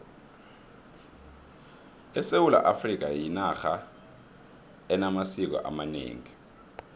isewula afrikha yinarha enamasiko amanengi